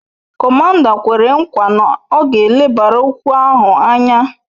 Komanda kwere kwa na ọ ga elebara okwu ahụ anya